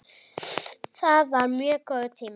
Það var mjög góður tími.